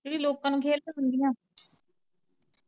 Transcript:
ਜਿਹੜੀ ਲੋਕਾਂ ਨੂੰ ਖੇਲ ਦਿਖਾਉਂਦੀਆਂ।